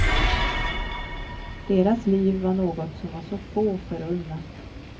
Deras liv var något som var så få förunnat.